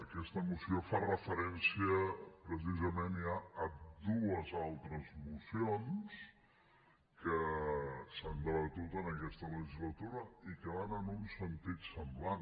aquesta moció fa referència precisament ja a dues altres mocions que s’han debatut en aquesta legislatura i que van en un sentit semblant